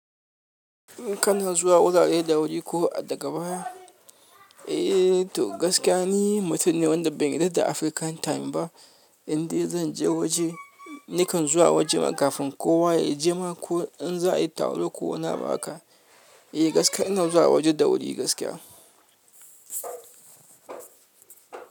In kana zuwa wurare da wuri ko daga baya, eh to gaskiya ni mutum ne wanda bai yarda da African time ba, inda zan je waje, nikan zuwa waje kafin kowa ya je ma ko in za a yi taro ko wani abu aka, eh gaskiya ina zuwa waje da wuri gaskiya.